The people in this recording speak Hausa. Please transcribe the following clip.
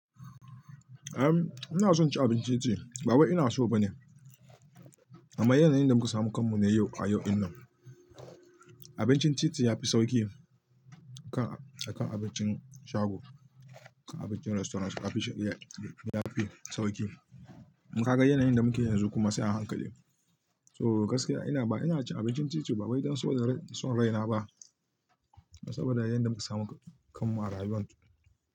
Eh, ina son cin abincin titi ba wai ina so ba ne, amma yana yanayin da muka samu kanmu ne yau a yau dinnan. Abincin titi ya fi sauƙi akan abincin shago, akan abincin restaurant ya fi sauƙi. Kaga yanayin da muke yanzu kuma sai a hankali. To gaskiya ina cin abincin titi ba wai don son raina ba, saboda yanayin da muka samu kanmu a rayuwar.